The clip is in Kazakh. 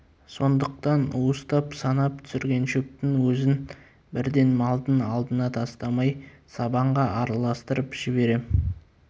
сондықтан уыстап санап түсірген шөптің өзін бірден малдың алдына тастамай сабанға араластырып жіберем